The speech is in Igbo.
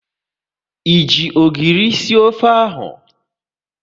Ị ji ogiri sie ofe ahụ?